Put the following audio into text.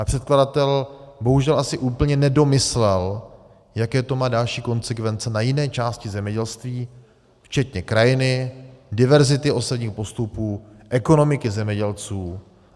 Ale předkladatel bohužel asi úplně nedomyslel, jaké to má další konsekvence na jiné části zemědělství, včetně krajiny, diverzity osevních postupů, ekonomiky zemědělců.